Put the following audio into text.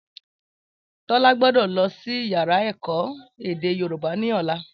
Tólá gbódò lọsí yàrá èkó èdè yorùbá ní ọ̀la